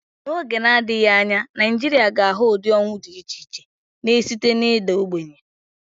N'oge na-adịghị anya, Nigeria ga-ahụ ụdị ọnwụ dị iche iche, na-esite na ịda ogbenye.